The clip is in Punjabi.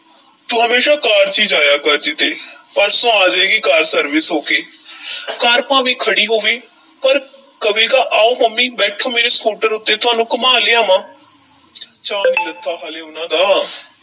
ਤੂੰ ਹਮੇਸ਼ਾਂ ਕਾਰ 'ਚ ਹੀ ਜਾਇਆ ਕਰ ਕਿਤੇ, ਪਰਸੋਂ ਆ ਜਾਏਗੀ ਕਾਰ service ਹੋ ਕੇ ਕਾਰ ਭਾਵੇਂ ਖੜ੍ਹੀ ਹੋਵੇ, ਪਰ ਕਵੇਗਾ ਆਓ ਮੰਮੀ, ਬੈਠੋ ਮੇਰੇ ਸਕੂਟਰ ਉੱਤੇ ਤੁਹਾਨੂੰ ਘੁਮਾ ਲਿਆਵਾਂ ਚਾਅ ਨੀ ਲੱਥਾ ਹਾਲੇ ਉਹਨਾਂ ਦਾ।